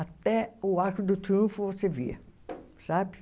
Até o Arco do Triunfo você via, sabe?